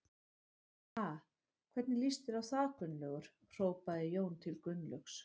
Ha, hvernig líst þér á það Gunnlaugur? hrópaði Jón til Gunnlaugs.